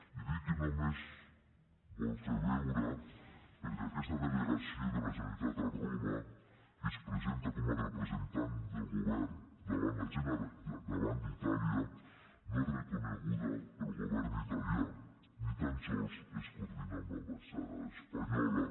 i dic que només vol fer veure perquè aquesta delegació de la generalitat a roma que es presenta com a representant del govern davant d’itàlia no és reconeguda pel govern italià ni tan sols es coordina amb l’ambaixada espanyola